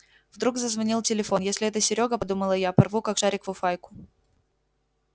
вдруг зазвонил телефон если это серёга подумала я порву как шарик фуфайку